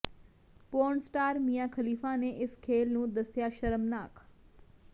porn star Mia Khalifa ਨੇ ਇਸ ਖੇਲ ਨੂੰ ਦੱਸਿਆ ਸ਼ਰਮਨਾਕ